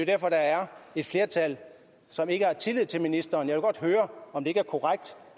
derfor der er et flertal som ikke har tillid til ministeren jeg vil godt høre om det ikke er korrekt